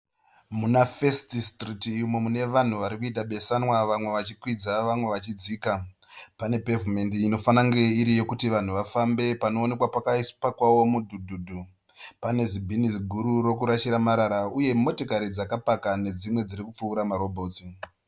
Muna First Street umo mune vanhu varikuita besanwa. Vamwe vachikwidza vamwe vachidzika. Pane pevhimendi inofanange iri yekuti vanhu vafambe panoonekwa pakapakawo mudhudhudhu. Pane zibhini ziguru rokurashira marara. Uye motikari dzakapaka nedzimwe dzirikupfuura marobhotsi.